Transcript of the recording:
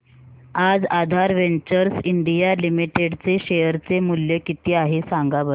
आज Aadhaar ventures India limited चे share चे मूल्य किती आहे सांगा बरं